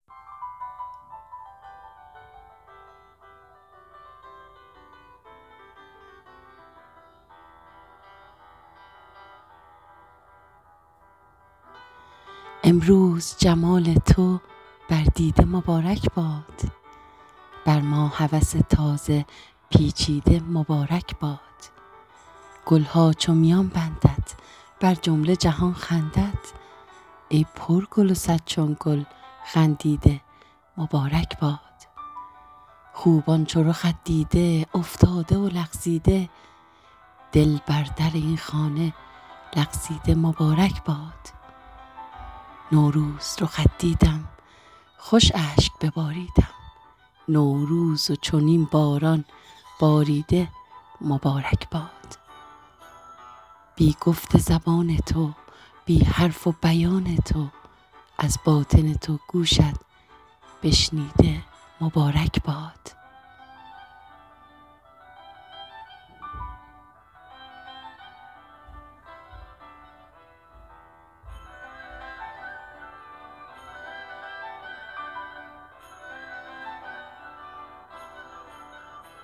امروز جمال تو بر دیده مبارک باد بر ما هوس تازه پیچیده مبارک باد گل ها چون میان بندد بر جمله جهان خندد ای پرگل و صد چون گل خندیده مبارک باد خوبان چو رخت دیده افتاده و لغزیده دل بر در این خانه لغزیده مبارک باد نوروز رخت دیدم خوش اشک بباریدم نوروز و چنین باران باریده مبارک باد بی گفت زبان تو بی حرف و بیان تو از باطن تو گوشت بشنیده مبارک باد